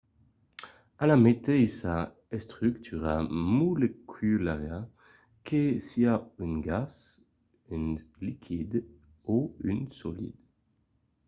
a la meteissa estrucura moleculara que siá un gas un liquid o un solid